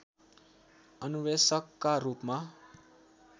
अन्वेषकका रूपमा